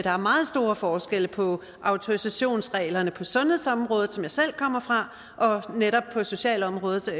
er meget store forskelle på autorisationsreglerne på sundhedsområdet som jeg selv kommer fra og netop socialområdet